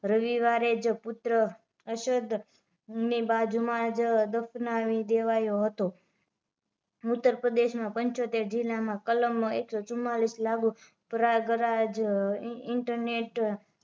રવિવારે જ પુત્ર અશરદ ની બાજુ માં જ દફનાવી દેવાયો હતો ઉતરપ્રદેશમાં પંચોતેર જિલ્લા માં કલમ એક સો ચુમ્બાલીસ લાગુ પ્રયાગરાજ ઇન્ટરનેટ